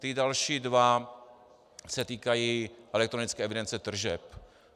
Ty další dva se týkají elektronické evidence tržeb.